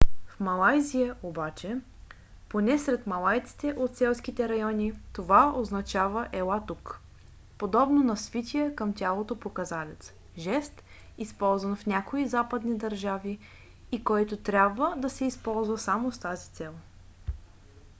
в малайзия обаче поне сред малайците от селските райони това означава ела тук подобно на свития към тялото показалец жест използван в някои западни държави и който трябва да се използва само с тази цел